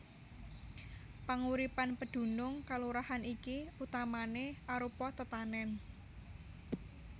Panguripan pedunung kalurahan iki utamané arupa tetanèn